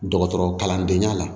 Dɔgɔtɔrɔkalandenya la